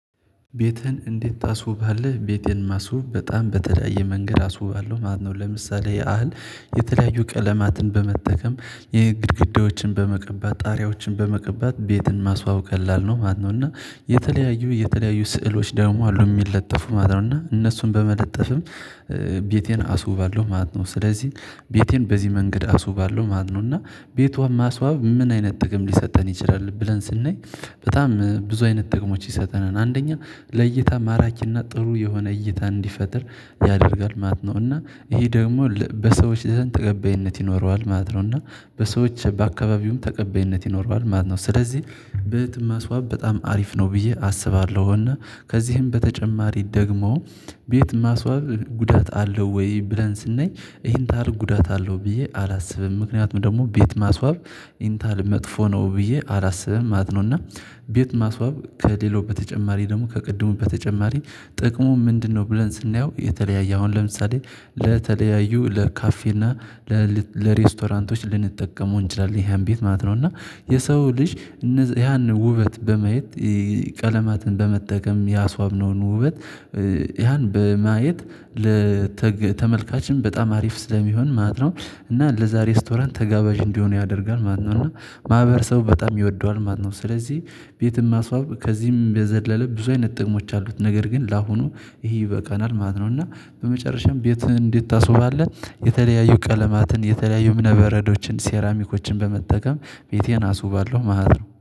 ቤትህን እንዴት ታስውባለህ? ቤቴን ማስውብ በጣም በተለያየ መንገድ አስውባለሁ ማለት ነው። ለምሳሌ ያህል የተለያዩ ቀለማትን በመጠቀም የግድግዳዎችን በመቀባት ጣሪያዎችን በመቀባት ቤትን ማስዋወብ ቀላል ነው ማለት ነው። እና የተለያዩ የተለያዩ ስዕሎች ደግሞ አሉ እሚለጠፉ ማለት ነው እና እነሱን በመለጠፍም ቤቴን አስውባለሁ ማለት ነው። ስለዚህ ቤቴን በዚህ መንገድ አስውባለሁ ማለት ነው። እና ቤቷም ማስዋብ ምን አይነት ጥቅም ሊሰጠን ይችላል? ብለን ስናይ በጣም ብዙ አይነት ጥቅሞች ይሰጠናል አንደኛ ለእይታ ማራኪና ጥሩ የሆነ እይታ እንዲፈጥር ያደርጋል ማለት ነው። እና ይሄ ደግሞ በሰዎች ዘንድ ተቀባይነት ይኖረዋል ማለት ነው። እና በሰዎች በአካባቢውም ተቀባይነት ይኖረዋል ማለት ነው። ስለዚህ ቤትን ማስዋብ በጣም አሪፍ ነው ብዬ አስባለሁና። ከዚህም በተጨማሪ ደግሞ ቤት ማስዋብ ጉዳት አለው ወይ? ብለን ስናይ ይሄን ታህል ጉዳት አለው ብዬ አላስብም ምክንያቱም ደግሞ ቤት ማስዋብ ይህን ታህል መጥፎ ነው ብዬ አላስብም ማለት ነው። እና ቤት ማስዋብ ከሌላው በተጨማሪ ደግሞ ከቅድሙ በተጨማሪ ጥቅሙ ምንድነው? ብለን ስናየው የተለያየ አሁን ለምሳሌ ለተለያዩ ለካፌና ለል ለሬስቶራንቶች ልንጠቀመው እንችላለን ያሃን ቤት ማለት ነው። እና የሰው ልጅ እነዚ ያን ውበት በማየት ቀለማትን በመጠቀም ያስዋብነውን ውበት ያን በመየት ለተግ ተመልካችም በጣም አሪፍ ስለሚሆን ማለት ነው እና ለዛ ሬስቶራንት ተጋባዥ እንዲሆን ያደርጋል ማለት ነው። እና ማህበረሰቡ በጣም ይወደዋል ማለት ነው። ስለዚህ ቤትም ማስዋብ ከዚህም በዘለለ ብዙ አይነት ጥቅሞች አሉት ነገር ግን ለአሁኑ ይሄ ይበቃናል ማለት ነው። እና በመጨረሻም ቤህን እንዴት ታስውባለህ? የተለያዩ ቀለማትን የተለያዩ እምነበረዶችን ሴራሚኮችን በመጠቀም ቤቴን አስባለሁ ማለት ነው